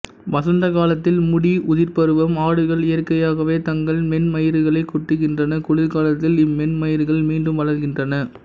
வசந்த காலத்தில் முடி உதிர்ப்பருவம் ஆடுகள் இயற்கையாகவே தங்கள் மென்மயிர்களைக் கொட்டுகின்றன குளிர்காலத்தில் இம்மென்மயிர்கள் மீண்டும் வளர்கின்றன